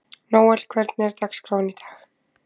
Nóel, hvernig er dagskráin í dag?